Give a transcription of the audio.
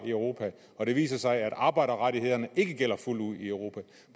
i europa og det viser sig at arbejderrettighederne ikke gælder fuldt ud i europa